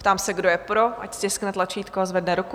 Ptám se, kdo je pro, ať stiskne tlačítko a zvedne ruku?